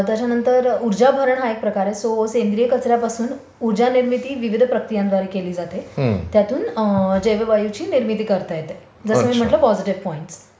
त्याच्यानंतर उर्जाभरण हा एक प्रकार आहे सो सेंद्रिय कचर् यापासून ऊर्जा निर्मिती विविध प्रक्रियांद्वारे केली जाते. त्यातून जैविक ऑइलची निर्मिती करता येते. जसे मी म्हंटले पॉजिटिव पॉईंट्स.